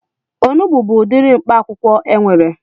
Onugbu bụ udiri mkpaakwụkwọ enwere